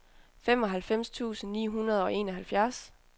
femoghalvfems tusind ni hundrede og enoghalvfjerds